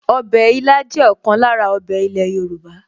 Ọbẹ̀ ilá jẹ́ ọ̀kan lára ọbẹ̀ ilẹ̀ Yorùbá